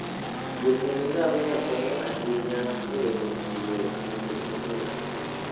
Wuotho gi ngamia konyo ahinya e geng'o chilo e wuoth mabor.